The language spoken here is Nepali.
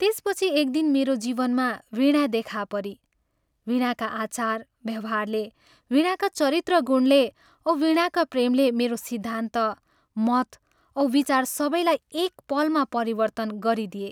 त्यसपछि एक दिन मेरो जीवनमा वीणा देखाहा परी वीणाका आचार व्यवहारले, वीणाका चरित्रगुणले औं वीणाका प्रेमले मेरो सिद्धान्त, मत औ विचार सबैलाई एक पलमा परिवर्तन गरिदिए।